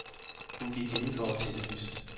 Hun gik indenfor og tændte lyset.